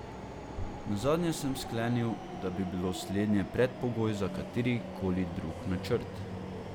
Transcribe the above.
Nazadnje sem sklenil, da bi bilo slednje predpogoj za katerikoli drug načrt.